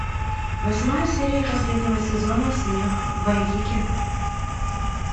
восьмая серия последнего сезона смех вайкики